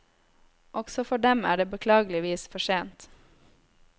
Også for dem er det beklageligvis for sent.